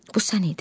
Bu sən idin.